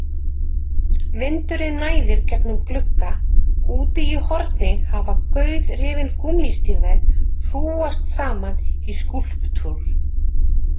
Vindurinn næðir gegnum glugga, úti í horni hafa gauðrifin gúmmístígvél hrúgast saman í skúlptúr.